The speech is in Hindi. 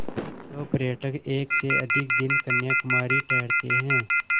जो पर्यटक एक से अधिक दिन कन्याकुमारी ठहरते हैं